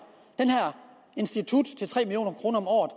institut til tre million kroner om året